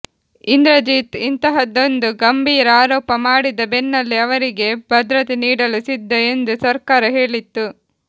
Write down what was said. ಇಂದ್ರಜಿತ್ ಇಂತಹದ್ದೊಂದು ಗಂಭೀರ ಆರೋಪ ಮಾಡಿದ ಬೆನ್ನಲ್ಲೇ ಅವರಿಗೆ ಭದ್ರತೆ ನೀಡಲು ಸಿದ್ಧ ಎಂದು ಸರ್ಕಾರ ಹೇಳಿತ್ತು